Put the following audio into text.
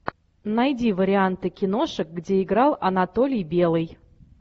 найди варианты киношек где играл анатолий белый